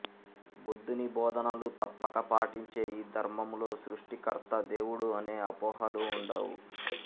బుద్ధుని బోధనలు తప్పక పాటించే ఈ ధర్మములో సృష్టికర్త దేవుడు అనే అపోహలు ఉండవు